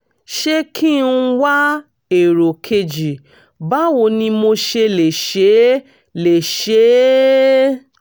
ṣé kí n wá èrò kejì báwo ni mo ṣe lè ṣe lè ṣe é?